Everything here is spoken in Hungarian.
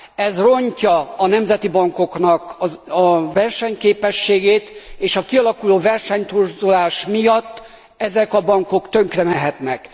ez rontja a nemzeti bankok versenyképességét, és a kialakuló versenytorzulás miatt ezek a bankok tönkremehetnek.